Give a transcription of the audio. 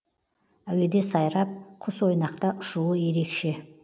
әуеде сайрап құсойнақта ұшуы ерекше